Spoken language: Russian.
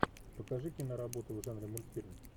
покажи киноработу в жанре мультфильм